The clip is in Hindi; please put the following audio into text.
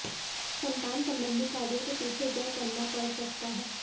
संतान संबंधी कार्यों के पीछे व्यय करना पड़ सकता है